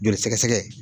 Joli sɛgɛsɛgɛ